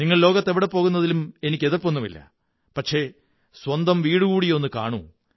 നിങ്ങൾ ലോകത്ത് എവിടെയും പോകുന്നതിലും എനിക്കെതിര്പ്പൊ ന്നുമില്ല പക്ഷേ സ്വന്തം വീടുകൂടിയൊന്നു കാണൂ